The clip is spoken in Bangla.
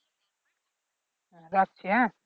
যাচ্ছি হ্যা